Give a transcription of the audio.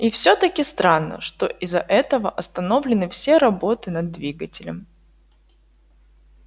и всё-таки странно что из-за этого остановлены все работы над двигателем